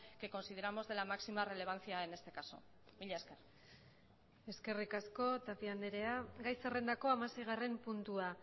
que consideramos de la máxima relevancia en este caso mila esker eskerrik asko tapia andrea gai zerrendako hamaseigarren puntua